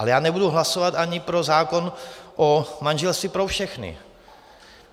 Ale já nebudu hlasovat ani pro zákon o manželství pro všechny.